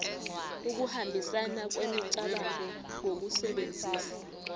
ukuhambisana kwemicabango ngokusebenzisa